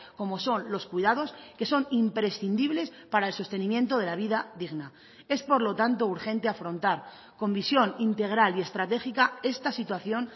como son los cuidados que son imprescindibles para el sostenimiento de la vida digna es por lo tanto urgente afrontar con visión integral y estratégica esta situación